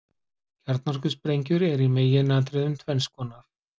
Kjarnorkusprengjur eru í meginatriðum tvenns konar.